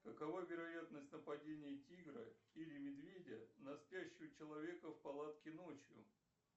какова вероятность нападения тигра или медведя на спящего человека в палатке ночью